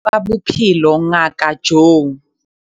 Letona la tsa Bophelo Ngaka Joe